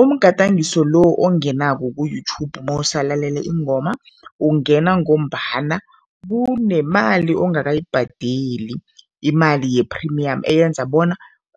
Umgadangiso lo ongenako ku-YouTube mawusalalele iingoma, ungena ngombana kunemali ongakayibhadeli, imali ye-premium eyenza bona